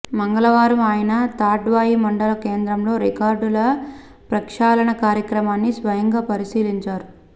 మంగళవారం ఆయన తాడ్వాయి మండల కేంద్రంలో రికార్డుల ప్రక్షాళన కార్యక్రమాన్ని స్వయంగా పరిశీలించారు